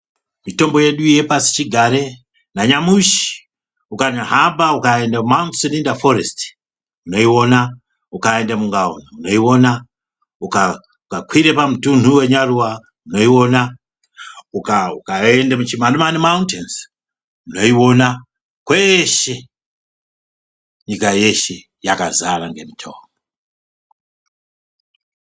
Mitombo yedu yepashi chigare nanyamushi ukanyahamba ukaende ku Mt Selinda forest unouona, ukaende mungaoni unouona ,ukanyakwire pamutunhu wenyaruwa unoiona, ukaende muChimanimani mountains unoiona kweshe nyika yeshe kwakazara ngemitombo.